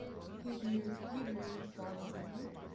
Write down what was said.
hebrew bible people